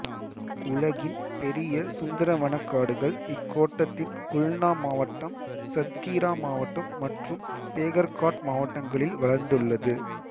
உலகின் பெரிய சுந்தரவனக்காடுகள் இக்கோட்டத்தின் குல்னா மாவட்டம் சத்கீரா மாவட்டம் மற்றும் பேகர்காட் மாவட்டங்களில் வளர்ந்துள்ளது